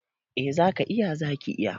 Eh za ka /ki iya.